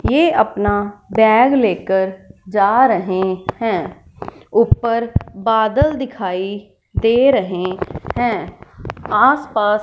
ये अपना बैग लेकर जा रहें हैं ऊपर बादल दिखाई दे रहें हैं आस पास--